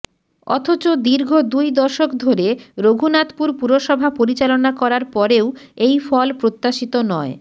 অথচ দীর্ঘ দুই দশক ধরে রঘুনাথপুর পুরসভা পরিচালনা করার পরেও এই ফল প্রত্যাশিত নয়